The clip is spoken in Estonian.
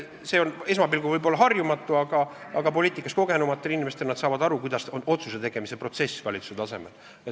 See on esmapilgul võib-olla harjumatu, aga poliitikas kogenumad inimesed saavad aru, kuidas käib otsuse tegemise protsess valitsuse tasemel.